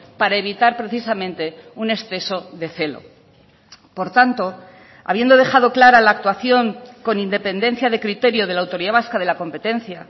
para evitar precisamente un exceso de celo por tanto habiendo dejado clara la actuación con independencia de criterio de la autoridad vasca de la competencia